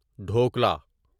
dhokla